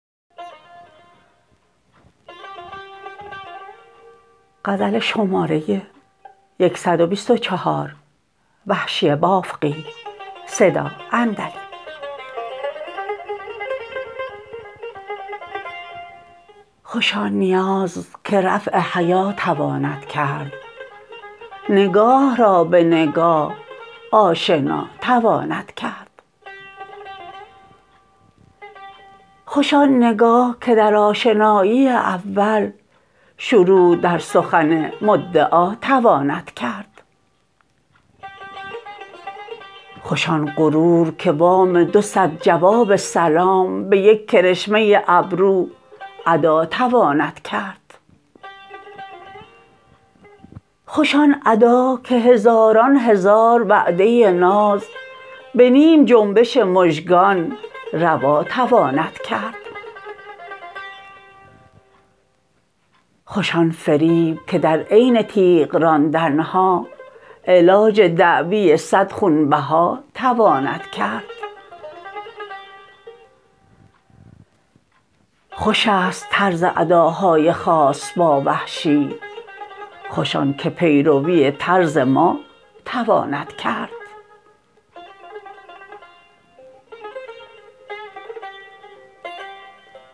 خوش آن نیاز که رفع حیا تواند کرد نگاه را به نگاه آشنا تواند کرد خوش آن نگاه که در آشنایی اول شروع در سخن مدعا تواند کرد خوش آن غرور که وام دو سد جواب سلام به یک کرشمه ابرو ادا تواند کرد خوش آن ادا که هزاران هزار وعده ناز به نیم جنبش مژگان روا تواند کرد خوش آن فریب که در عین تیغ راندنها علاج دعوی سد خونبها تواند کرد خوش است طرز اداهای خاص با وحشی خوش آن که پیروی طرز ما تواند کرد